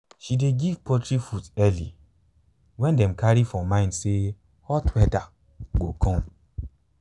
she dey give poultry food early when dem carry for mind say hot weather go come.